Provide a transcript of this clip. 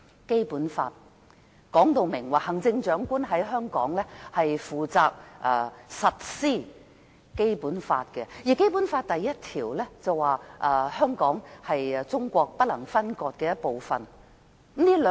《基本法》說明行政長官負責在香港實施《基本法》，而《基本法》第一條訂明，香港是中國不能分割的一部分。